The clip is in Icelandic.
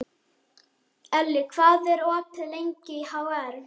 Elli, hvað er opið lengi í HR?